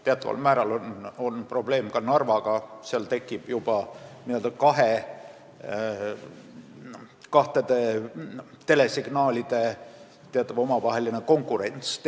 Teatud määral on probleem ka Narvaga, kus tehniliselt tekib juba n-ö kahtede telesignaalide omavaheline konkurents.